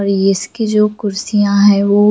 और ये इसकी जो कुरिसीय है वो--